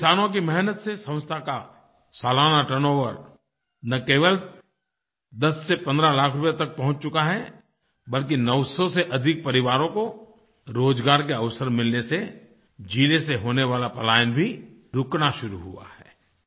किसानों की मेहनत से संस्था का सालाना टर्नओवर न केवल 10 से 15 लाख रूपये तक पहुँच चुका है बल्कि 900 से अधिक परिवारों को रोज़गार के अवसर मिलने से ज़िले से होने वाला पलायन भी रुकना शुरू हुआ है